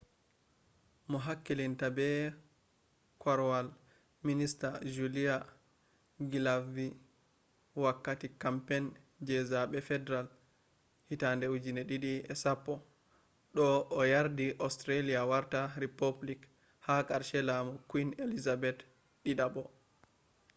mo hakkilinta be kwarwal minister julia gillardvi wakati campaign je zabe federal 2010 do o yardi australia warta republic ha karshe lamu queen elizabeth ii